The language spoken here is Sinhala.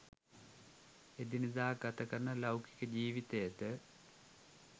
එදිනෙදා ගතකරන ලෞකික ජීවිතයද